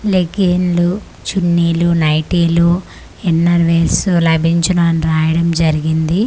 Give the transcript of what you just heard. లెగ్గిన్లు చున్నీలు నైటీలు inner wears లభించును అని రాయడం జరిగింది.